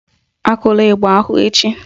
Akụla ịgba ahụ echi